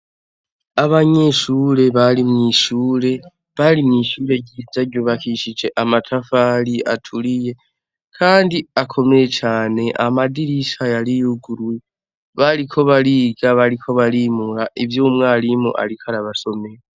Abanyeshure bari mwishure ryiza ryubakishije amatafari meza aturiye kandi akomeye cane amadirisha yari yuguruye bariko bariga bariko bimura ivyo umwarimu yariko arabasomera.